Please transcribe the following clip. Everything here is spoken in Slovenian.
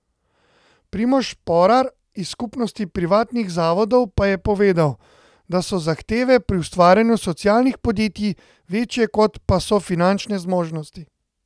Primož Šporar iz Skupnosti privatnih zavodov pa je povedal, da so zahteve pri ustvarjanju socialnih podjetij večje kot pa so finančne zmožnosti.